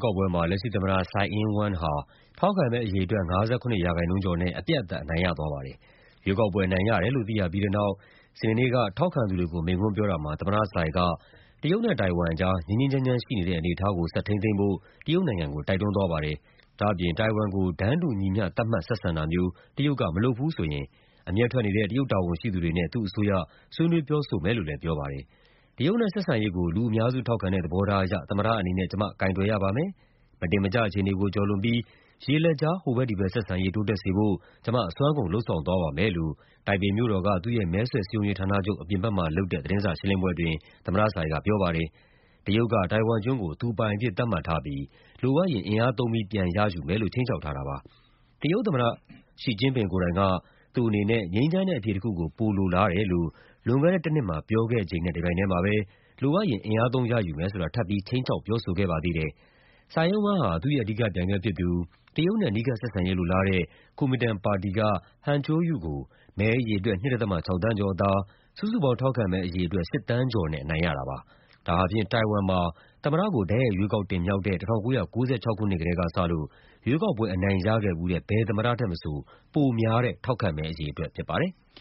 ကောက်ပွဲမှာ လက်ရှိသမ္မတ Tsai Ing-wen ဟာ ထောက်ခံမဲအရေအတွက် ၅၇% ကျော် နဲ့ အပြတ်အသတ် အနိုင်ရသွားပါတယ်။ ရွေးကောက်ပွဲအနိုင်ရတယ်လို့ သိရပြီးတဲ့နောက် စနေနေ့က ထောက်ခံသူတွေကို မိန့်ခွန်းပြောတာမှာ သမ္မတ Tsai က တရုတ်နဲ့ တိုင်ဝမ်အကြား ငြိမ်းငြိမ်းချမ်းချမ်းရှိနေတဲ့ အနေအထားကို ဆက်ထိန်းသိမ်းဖို့ တရုတ်နိုင်ငံကို တိုက်တွန်းသွားပါတယ်။ ဒါ့အပြင် တိုင်ဝမ်ကို တန်းတူညီမျှ သတ်မှတ် ဆက်ဆံတာမျိုး တရုတ်က မလုပ်ဘူးဆိုရင် အမျက်ထွက်နေတဲ့ တရုတ်တာဝန်ရှိသူ တွေနဲ့ သူ့အစိုးရ ဆွေးနွေးပြောဆိုမယ်လို့လည်း ပြောပါတယ်။ “တရုတ်နဲ့ဆက်ဆံရေးကို လူအများစုထောက်ခံတဲ့ သဘောထားအရ သမ္မတအနေနဲ့ ကျမ ကိုင်တွယ်ရပါမယ်၊ မတင်မကျ အခြေ အနေကိုကျော်လွန်ပြီး ရေလက်ကြား ဟိုဘက်ဒီဘက်ဆက်ဆံရေး တိုးတက်စေဖို့ ကျမ အစွမ်းကုန် လုပ်ဆောင်သွားပါမယ်” လို့ တိုင်ပြေမို့တော်က သူ့ရဲ့မဲဆွယ်စည်းရုံးရေးဌာနချုပ် အပြင်ဘက်မှာလုပ်တဲ့ သတင်းစာရှင်းလင်းပွဲအတွင်း သမ္မတ Tsai က ပြော ပါတယ်။ တရုတ်က တိုင်ဝမ်ကျွန်းကို သူပိုင်အဖြစ် သတ်မှတ်ထားပြီး လိုအပ်ရင် အင်အားသုံးပြီး ပြန်ရယူမယ်လို့ ခြိမ်းခြောက်ထားတာပါ။ တရုတ်သမ္မတ Xi Jingping ကိုယ်တိုင်က သူ့အနေနဲ့ ငြိမ်းချမ်းတဲ့အဖြေတခုကို ပိုလိုလားတယ်လို့ လွန်ခဲ့တဲ့တနှစ်မှာ ပြောခဲ့ချိန်နဲ့ တပြိုင်ထဲမှာပဲ လိုအပ်ရင် အင်အားသုံး ရယူမယ်ဆိုတာ ထပ်ပြီး ခြိမ်းခြောက်ပြောဆိုခဲ့ပါသေးတယ်။ Tsai Ing-wen ဟာ သူ့ရဲ့အဓိကပြိုင်ဘက်ဖြစ်သူ၊ တရုတ်နဲ့ အနီးကပ်ဆက်ဆံရေးလိုလားတဲ့ Koumintang (KMT) ပါတီက Han Kuo-yu ကို မဲအရေအတွက် ၂.၆ သန်းကျော်အသာ၊ စုစုပေါင်း ထောက်ခံမဲအရေအတွက် ၈ သန်းကျော်နဲ့ အနိုင်ရတာပါ။ ဒါဟာ တိုင်ဝမ်မှာ သမ္မတကို တိုက်ရိုက်ရွေးကောက်တင်မြှောက်တဲ့ ၁၉၉၆ ခုနှစ်ကတည်းကစလို့ ရွေးကောက်ပွဲ အနိုင်ရခဲ့ဖူးတဲ့ ဘယ်သမ္မတထက်မဆို ပိုများတဲ့ ထောက်ခံမဲအရေအတွက်ဖြစ်ပါတယ်။